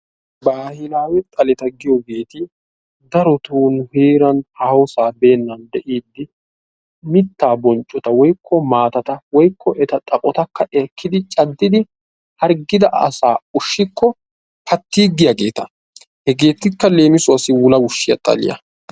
baahilaaawe xaleta giyoogeeti darotoo nu heeran haahosaa beenan de'iidi mitaa bonccota woykko maatata woykko eta xaphota ekkidi caddidi hargida asaa ushikko patiigiyageeta. Hegeetikka leemmissuwawu wulwushiya xaliya